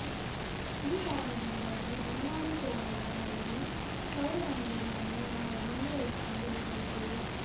ಈ ಕಾರಣದಿಂದಾಗಿ ಬನ್ವಾರಿ ಟೊಲಾ ಗ್ರಾಮದಲ್ಲಿ ಕ್ಷೌರದಂಗಡಿಯನ್ನು ನಾವು ಮುಂದುವರಿಸಿಕೊಂಡು ಹೋಗಲಿದ್ದೇವೆ